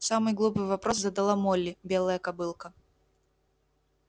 самый глупый вопрос задала молли белая кобылка